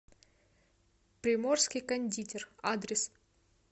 приморский кондитер адрес